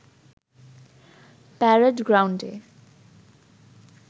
parade গ্রাউন্ডে